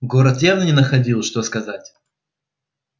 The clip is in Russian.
город явно не находил что сказать